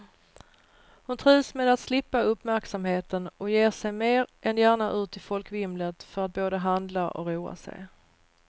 Hon trivs med att slippa uppmärksamheten och ger sig mer än gärna ut i folkvimlet för att både handla och roa sig.